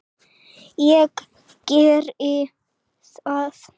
Ég geri það.